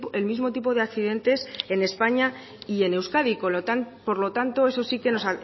es el mismo tipo de accidentes en españa y en euskadi por lo tanto eso sí que nos